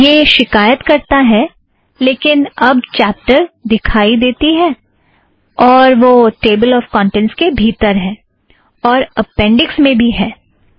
वह शिकायत करता है लेकिन अब एक चॅप्टर दिखाई देती है और वह टेबल ऑफ़ कौंटेंट्स के भीतर है और अपेंड़िक्स में भी है